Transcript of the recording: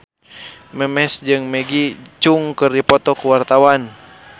Memes jeung Maggie Cheung keur dipoto ku wartawan